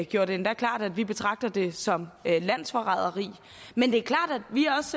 gjorde det endda klart at vi betragter det som landsforræderi men det